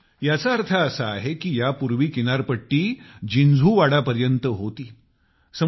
म्हणजे याचा अर्थ असा आहे की यापूर्वी किनारपट्टी जिन्झुवाड़ा पर्यंत होती